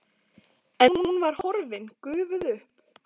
En hún var horfin, gufuð upp.